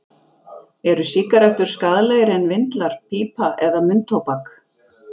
Eru sígarettur skaðlegri en vindlar, pípa eða munntóbak?